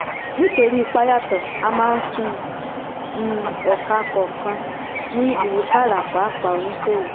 nítorí ipa yàtọ̀ a máa ń fún um ẹ̀ka kọ̀ọ̀kan ní ìwúkàrà pàápàá oníṣòwò.